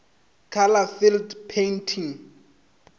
color field painting